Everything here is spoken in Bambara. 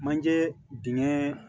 Manjee dingɛn